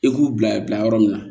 E k'u bila bila yɔrɔ min na